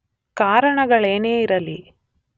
ಕಾರಣಗಳೇನೇ ಇರಲಿ